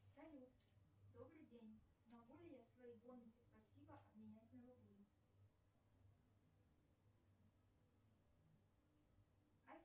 салют добрый день могу ли я свои бонусы спасибо обменять на рубли